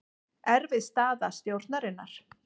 Erfið staða stjórnarinnar